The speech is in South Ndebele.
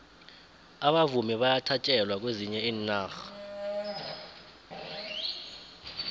abavumi bayathatjelwa kwezinye iinarha